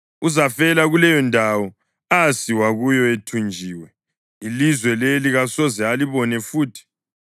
Uzafela kuleyondawo asiwa kuyo ethunjiwe; ilizwe leli kasoze alibone futhi.”